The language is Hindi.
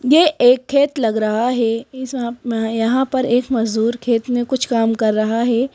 ये एक खेत लग रहा है यहां पर एक मजदूर खेत में कुछ काम कर रहा है।